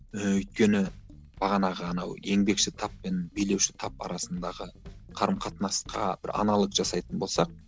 і өйткені бағанағы анау еңбекші тап пен билеуші тап арасындағы қарым қатынасқа бір аналог жасайтын болсақ